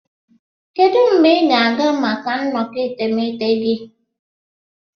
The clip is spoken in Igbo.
Kedu mgbe ị ga-aga maka nnọkọ etemeete gị?